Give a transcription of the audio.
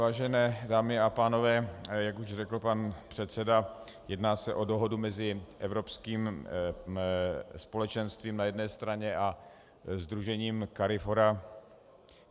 Vážené dámy a pánové, jak už řekl pan předseda, jedná se o dohodu mezi Evropským společenstvím na jedné straně a sdružením CARIFORA.